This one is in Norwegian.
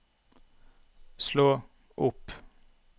slå opp